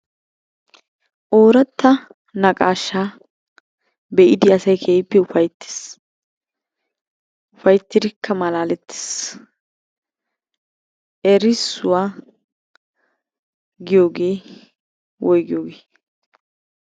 Ooratta naqaashshaa be'idi asayi keehippe ufayttes. Ufayttidikka malaalettes erissuwa giyogee woyigiyogee?